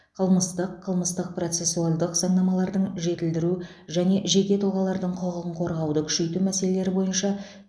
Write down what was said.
қылмыстық қылмыстық процесуальдық заңнамаларды жетілдіру және жеке тұлғалардың құқығын қорғауды күшейту мәселелері бойынша